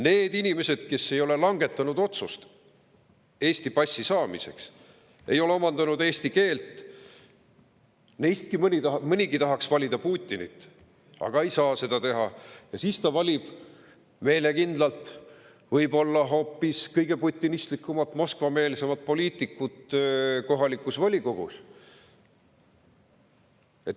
Nendest inimestest, kes ei ole langetanud otsust Eesti passi saamiseks, ei ole omandanud eesti keelt, nii mõnigi tahaks valida Putinit, aga kuna ta ei saa seda teha, siis ta valib meelekindlalt võib-olla hoopis kõige putinistlikumat, Moskva-meelsemat poliitikut kohalikus volikogus.